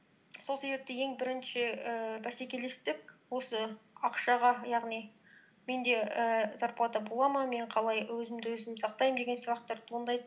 сол себепті ең бірінші ііі бәсекелестік осы ақшаға яғни менде ііі зарплата бола ма мен қалай өзімді өзім сақтаймын деген сұрақтар туындайды